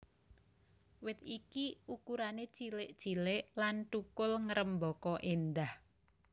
Wit iki ukurané cilik cilik lan thukul ngrêmbaka éndah